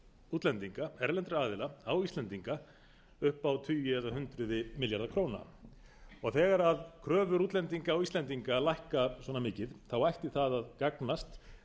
útlendinga erlendra aðila á íslendinga upp á tugi eða hundruð milljarða króna þegar kröfur útlendinga á íslendinga lækka svona mikið ætti það að gagnast